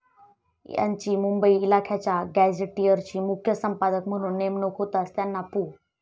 त्यांची मुंबई इलाख्याच्या गॅझेटियरसाठी मुख्य संपादक म्हणून नेमणूक होताच त्यांना पु.